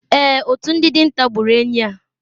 Èè, otu ndị dinta gburu enyí a.